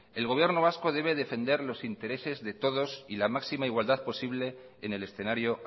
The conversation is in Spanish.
el gobierno vasco debe defender los intereses de todos y la máxima igualdad posible en el escenario